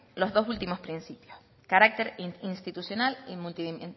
los dos últimos principios carácter institucional y